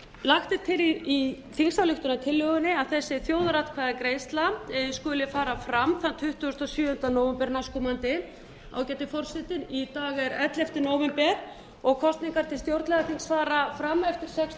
lagt er til í þingsályktunartillögunni að þessi þjóðaratkvæðagreiðsla skuli fara fram þann tuttugasta og sjöunda nóvember næstkomandi ágæti forseti í dag er ellefta nóvember og kosningar til stjórnlagaþings fara fram eftir sextán